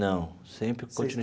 Não, sempre continuei.